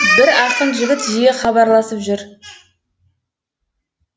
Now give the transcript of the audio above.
бір ақын жігіт жиі хабарласып жүр